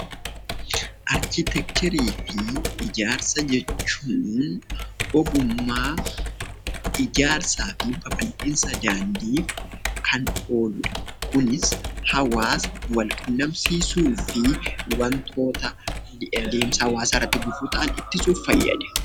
Arkiteekcharii fi ijaarsa jechuun ogummaa ijaarsaa fi babal'iinsa daandiif kan ooludha. Kunis hawaasa wal qunnamsiisuu fi wantoota adeemsa hawaasaa irratti gufuu ta'an ittisuuf fayyada.